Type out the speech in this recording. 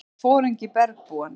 Það var foringi bergbúanna.